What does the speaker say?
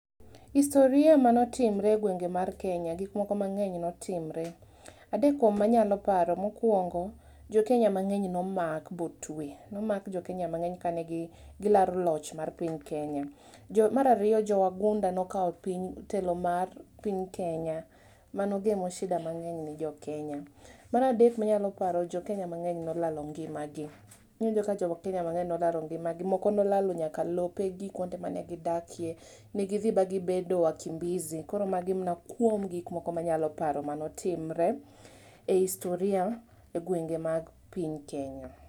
Historia[s] mane otimore e gwenge mag Kenya, gik moko mangeny ne otimore. Adek kuom manyalo paro mokuongo jokenya mangeny nomak motwe, nomak jokenya mangeny kane gilaro loch mar piny Kenya. Mar ariyo jo wagunda ne okao telo mar piny Kenya mane ogamo shida mangeny ne jokenya. Mar adek manyalo paro, jokenya mangeny nolalo ngimagi, iwinjo ka jokenya mangeny nolalo ngimagi, moko nolalo nyaka lopegi kuonde ma gidakie ne gidhi ma gibedo wakimbizi, koro magi mana kuom gik moko manyalo paro mane otimre e historia e gwenge mar piny Kenya